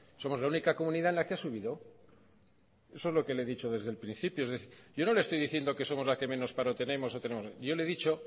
somos la única comunidad en la que ha subido eso es lo que le he dicho desde el principio yo no le estoy diciendo que somos las que menos paro tenemos yo le he dicho